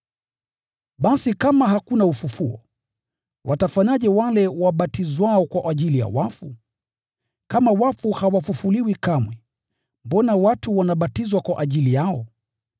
Basi kama hakuna ufufuo, watafanyaje wale wabatizwao kwa ajili ya wafu? Kama wafu hawafufuliwi kamwe, mbona watu wanabatizwa kwa ajili yao?